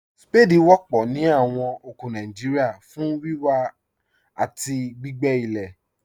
Ṣpáàdí wọ̀pọ̀ ní awọn oko Nàìjíríà fún wíwà àti gbìgbé ilẹ̀.